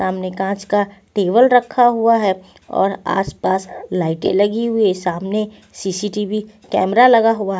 सामने कांच का टेबल रखा हुआ है और आसपास लाइटें लगी हुई है सामने सी_सी_टी_वी कैमरा लगा हुआ है.